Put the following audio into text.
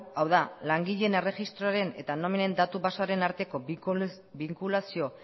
hau da langileen erregistroaren eta nominen datu basearen arteko binkulazio